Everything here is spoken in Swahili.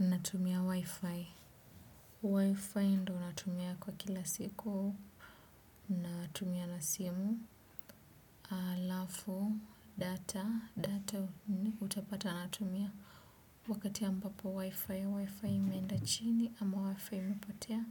Natumia WiFi, WiFi ndo natumia kwa kila siku, natumia na simu, alafu data, data utapata natumia wakati ambapo, wifi imeenda chini ama wifi imepotea